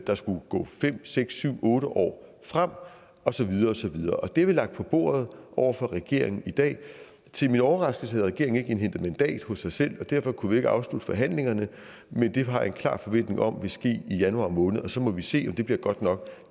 der skulle gå fem seks syv otte år frem og så videre og så videre det har vi lagt på bordet over for regeringen i dag til min overraskelse havde regeringen ikke indhentet mandat hos sig selv og derfor kunne vi ikke afslutte forhandlingerne men det har jeg en klar forventning om vil ske i januar måned og så må vi se om det bliver godt nok